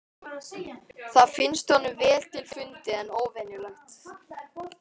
Það finnst honum vel til fundið en óvenjulegt.